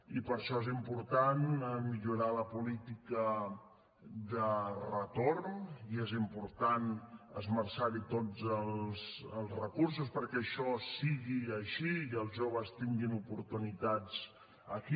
i per això és important millorar la política de retorn i és important esmerçar hi tots els recursos perquè això sigui així i els joves tinguin oportunitats aquí